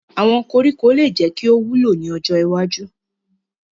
Awọn koriko le jẹ ki o wulo ni ojo iwaju